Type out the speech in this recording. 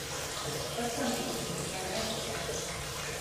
пацаны вторая часть